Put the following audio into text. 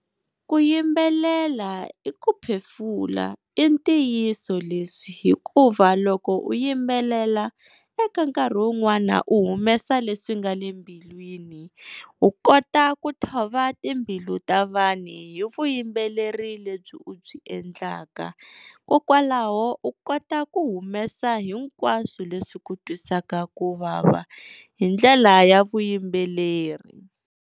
Ku yimbelela i ku phefula i ntiyiso leswi hikuva loko u yimbelela eka nkarhi wun'wana u humesa leswi nga le mbilwini, u kota ku thova timbilu ta vanhu hi vuyimbeleri lebyi u byi endlaka kokwalaho u kota ku humesa hinkwaswo leswi swi ku twisaka ku vava hi ndlela ya vuyimbeleri.